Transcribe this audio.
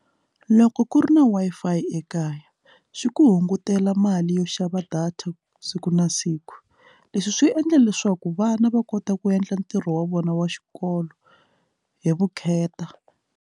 Loko ku ri na Wi-Fi ekaya swi ku hungutela mali yo xava data siku na siku leswi swi endla leswaku vana va kota ku endla ntirho wa vona wa xikolo hi vukheta.